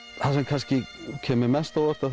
það sem kemur mér mest á óvart